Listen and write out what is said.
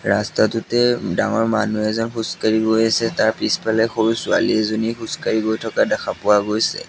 ৰাস্তাটোতে ডাঙৰ মানুহ এজন খোজকাঢ়ি গৈ আছে তাৰ পিছফালে সৰু ছোৱালী এজনী খোজকাঢ়ি গৈ থকা দেখা পোৱা গৈছে।